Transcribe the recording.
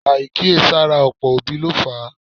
Àìkíyèsára ọ̀pọ̀ òbí ló fà á